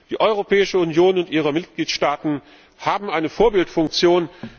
Die Europäische Union und ihre Mitgliedstaaten haben eine Vorbildfunktion.